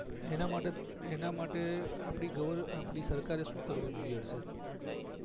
એના માટે એના માટે આપડી ગવર આપડી સરકારએ શું કરવું જોઈએ હર્ષદ